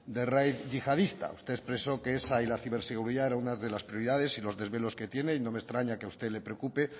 de la red yihadista ustedes expresó que esa y la ciberseguridad son una de las prioridades y los desvelos que tiene y no me extraña que a usted le preocupe